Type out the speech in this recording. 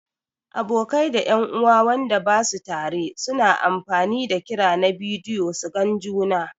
Abokai da en'uwa Wanda basu tare su na amfani da kira na bidiyo su gan juna.